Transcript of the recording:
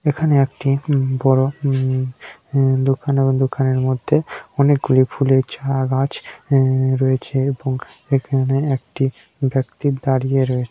এখানে একটি উ-ম বড় উ-ম উ-ম দোকান এবং দোকানের মধ্যে অনেকগুলি ফুলের ঝাগ আছে এ-রয়েছে এবং এখানে একটি ব্যক্তি দাঁড়িয়ে রয়েছে।